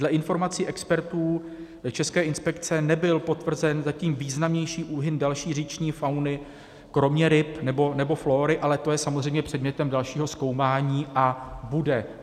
Dle informací expertů České inspekce nebyl potvrzen zatím významnější úhyn další říční fauny, kromě ryb, nebo flóry, ale to je samozřejmě předmětem dalšího zkoumání, a bude.